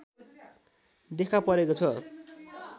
देखापरेको छ